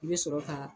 I bɛ sɔrɔ ka